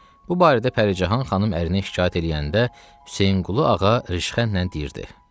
Bu barədə Pəricahan xanım ərinə şikayət eləyəndə Hüseynqulu ağa rişxəndlə deyirdi: